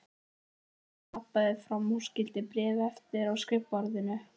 Emil labbaði fram og skyldi bréfið eftir á skrifborðinu.